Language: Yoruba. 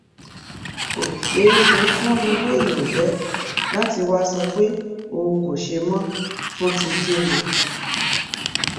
kò ṣeé ṣe fún irú èèyàn bẹẹ láti wàá sọ pé òun kò ṣe mọ fún ti kín ni